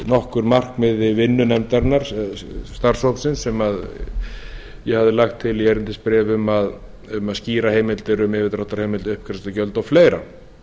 nokkur markmið vinnunefndarinnar starfshópsins sem ég hafði lagt til í erindisbréfi um að skýra heimildir um yfirdráttarheimild uppgreiðslugjöld og fleira